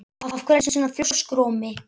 Af hverju ertu svona þrjóskur, Ómi?